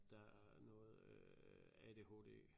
Der er noget øh ADHD